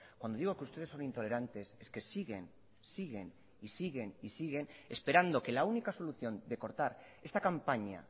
cuando digo que ustedes son intolerantes es que siguen siguen y siguen y siguen esperando que la única solución de cortar esta campaña